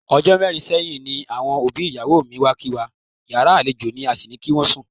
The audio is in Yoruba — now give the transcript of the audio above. O̩jó̩ mé̩rin sé̩yìn ni àwo̩n òbí ìyàwó mi wá kí wa, yàrá àlejò ní a sì ní kí wó̩n sùn.